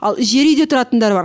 ал жер үйде тұратындар бар